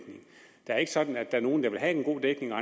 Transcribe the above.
er ikke sådan at der er nogle der vil have en god dækning og